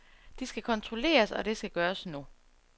De skal kontrolleres, og det skal gøres nu.